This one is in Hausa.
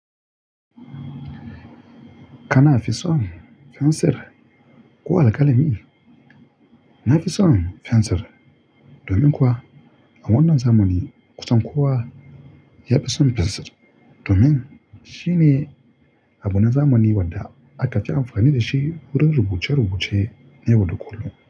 Kana fi son fensir ko alkalami? Na fi son fensir domin kuwa a wannan zamani, kusan kowa ya fi son fensir domin shine abuna zamani wanda aka ci amfani da shi wurin rubuce-rubuce na yau da kullum.